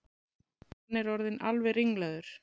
Hann er orðinn alveg ringlaður!